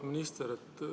Auväärt minister!